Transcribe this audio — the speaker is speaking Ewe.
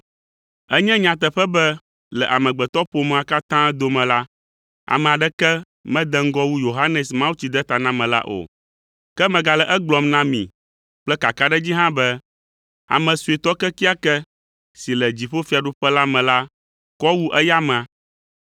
Enye nyateƒe be le amegbetɔƒomea katã dome la, ame aɖeke mede ŋgɔ wu Yohanes Mawutsidetanamela o. Ke megale egblɔm na mi kple kakaɖedzi hã be, ame suetɔ kekeake si le dziƒofiaɖuƒe la me la kɔ wu eya amea!